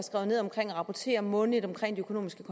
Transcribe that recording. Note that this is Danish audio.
rapportere månedligt om de økonomiske